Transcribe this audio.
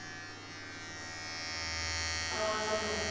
Það er hægt að bjóða því hvað sem er.